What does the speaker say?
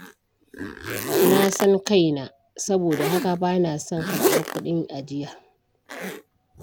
Na san kaina, saboda haka ba na son karɓar kuɗin ajiya.